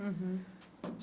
Uhum.